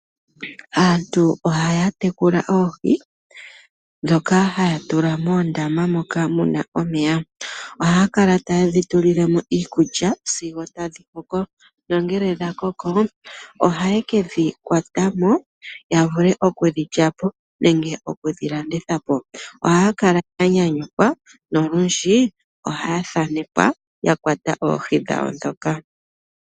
Aantu ohaya tekula oohi. Dhoka haya tula moondama moka muna omeya. Oha kala taye dhi tulile mo iikulya sigo tadhi koko. Nongele dha koko ohaye kedhi kwata mo ya vule okudhi lyapo nenge oku dhi landitha po. Oha kala ya nyanyukwa nolundji oha thanekwa yakwata oohi dhawo dhoka.